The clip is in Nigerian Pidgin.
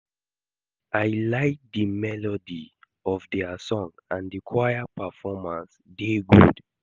I like the melody of their song and the choir performance dey good